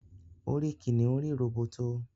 orí kìnìún rí róbótó